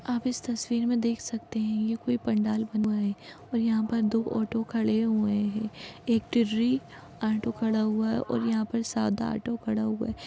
आप इस तस्वीर में देख सकते है ये कोई पंडाल बना है और यहा पे दो ऑटो खड़े हुए है एक टिर्री ऑटो खड़ा हुआ है और यहाँ पर सादा ऑटो खड़ा हूआ है।